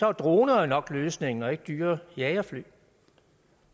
er droner nok løsningen ikke dyre jagerfly